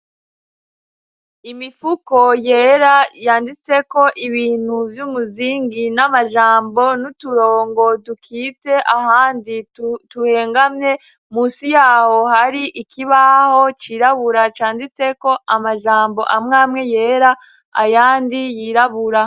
imifuko yera yanditseko ibintu by'umuzingi n'amajambo n'uturongo dukitse ahandi tuhengamye munsi yaho hari ikibaho cirabura canditse ko amajambo amwamwe yera ayandi yirabura